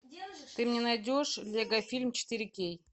ты мне найдешь лего фильм четыре кей